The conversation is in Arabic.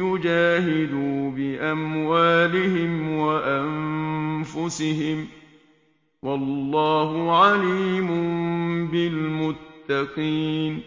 يُجَاهِدُوا بِأَمْوَالِهِمْ وَأَنفُسِهِمْ ۗ وَاللَّهُ عَلِيمٌ بِالْمُتَّقِينَ